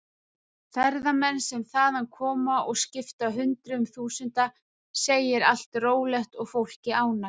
Ferðamenn sem þaðan koma og skipta hundruðum þúsunda segja allt rólegt og fólkið ánægt.